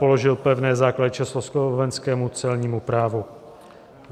Položil pevné základy československému celnímu právu.